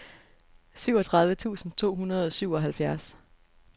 syvogtredive tusind to hundrede og syvoghalvfjerds